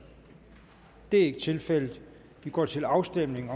det er ikke tilfældet og vi går til afstemning